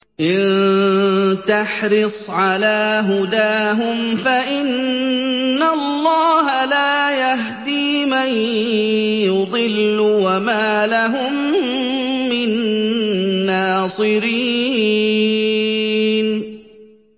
إِن تَحْرِصْ عَلَىٰ هُدَاهُمْ فَإِنَّ اللَّهَ لَا يَهْدِي مَن يُضِلُّ ۖ وَمَا لَهُم مِّن نَّاصِرِينَ